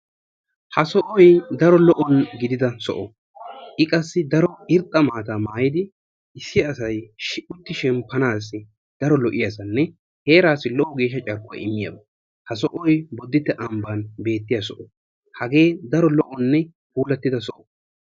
Ha sohoy daro lo''o gidida soho. i qassi daro irxxa maata maayyidi issi asay utti shemppanassi daro lo''iyaasanne heerassi geeshsha carkkuwaa immiyy soho. ha sohoy Booditte ambba beettiyaa soho. hagee daro lo''onne puulatida soho.